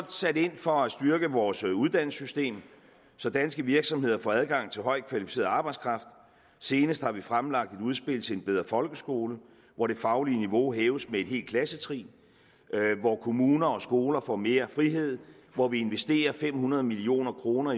sat ind for at styrke vores uddannelsessystem så danske virksomheder får adgang til højt kvalificeret arbejdskraft senest har vi fremlagt et udspil til en bedre folkeskole hvor det faglige niveau hæves med et helt klassetrin hvor kommuner og skoler får mere frihed hvor vi investerer fem hundrede million kroner